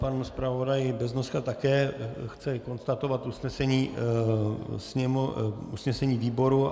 Pan zpravodaj Beznoska také chce konstatovat usnesení výboru.